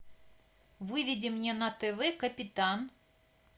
выведи мне на тв капитан